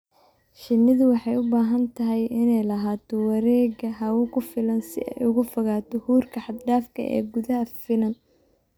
Shinnidu waxay u baahan tahay inay lahaato wareegga hawo ku filan si ay uga fogaato huurka xad dhaafka ah ee gudaha finan.